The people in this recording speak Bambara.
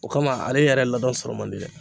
O kama ale yɛrɛ ladɔn sɔrɔ man di dɛ